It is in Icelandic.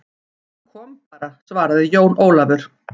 Hann kom bara, svaraði Jón Ólafur.